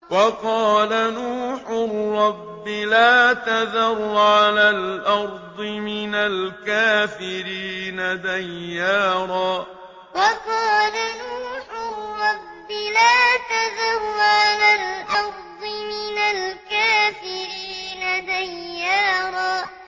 وَقَالَ نُوحٌ رَّبِّ لَا تَذَرْ عَلَى الْأَرْضِ مِنَ الْكَافِرِينَ دَيَّارًا وَقَالَ نُوحٌ رَّبِّ لَا تَذَرْ عَلَى الْأَرْضِ مِنَ الْكَافِرِينَ دَيَّارًا